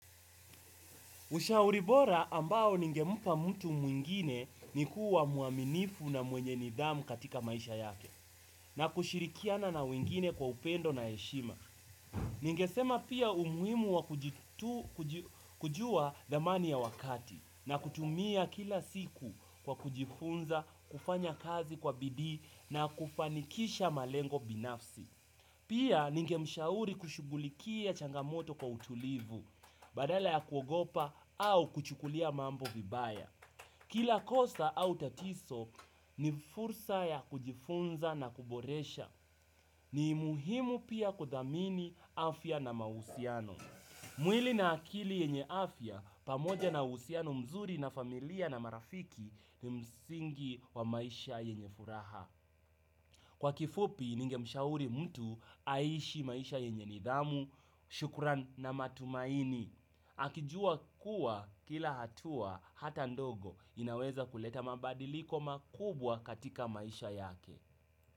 Ushauri bora ambao ningempa mtu mwingine, ni kuwa mwaminifu na mwenye nidhamu katika maisha yake, na kushirikiana na wengine kwa upendo na heshima. Ningesema pia umuhimu wa kujua thamani ya wakati, na kutumia kila siku kwa kujifunza, kufanya kazi kwa bidii na kufanikisha malengo binafsi. Pia, ninge mshauri kushugulikia changamoto kwa utulivu, badala ya kuogopa au kuchukulia mambo vibaya. Kila kosa au tatizo ni fursa ya kujifunza na kuboresha. Ni muhimu pia kuthamini, afya na mausiano. Mwili na akili yenye afya, pamoja na usiano mzuri na familia na marafiki, ni msingi wa maisha yenye furaha. Kwa kifupi ningemshauri mtu aishi maisha yenye nidhamu, shukran na matumaini. Akijua kuwa kila hatua hata ndogo, inaweza kuleta mabadiliko makubwa katika maisha yake.